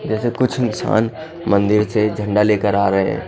जैसे कुछ इंसान मंदिर से झंडा लेकर आ रहे है।